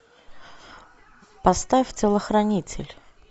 поставь телохранитель